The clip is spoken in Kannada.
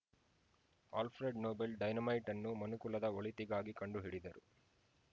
ಆಲ್ಫೆ್ರಡ್‌ ನೊಬೆಲ್‌ ಡೈನಮೈಟ್‌ ಅನ್ನು ಮನುಕುಲದ ಒಳಿತಿಗಾಗಿ ಕಂಡುಹಿಡಿದರು